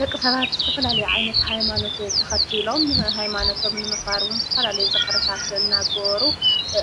ደቂ ኸባቢ ዝተፈላለዩ ዓይነት ሃይማኖት ተኸቲሎም ሃይማኖቶም ንምኽባር እውን ዝተፈላለዩ ፃዕርታት እናገበሩ